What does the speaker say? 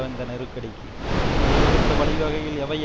இந்த நெருக்கடிக்கு வழிவகுத்த வழி வகைகள் எவை